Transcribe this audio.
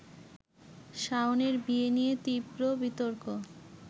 শাওনের বিয়ে নিয়ে তীব্র বিতর্ক